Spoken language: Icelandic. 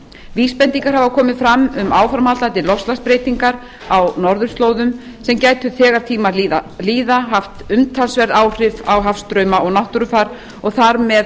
vísbendingar hafa komið fram um áframhaldandi loftslagsbreytingar á norðurslóðum sem gætu þegar tímar líða haft umtalsverð áhrif á hafstrauma og náttúrufar og þar með